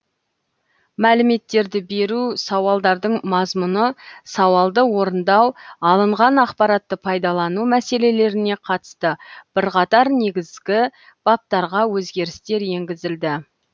мәліметтерді беру сауалдардың мазмұны сауалды орындау алынған ақпаратты пайдалану мәселелеріне қатысты бірқатар негізгі баптарға өзгерістер енгізілді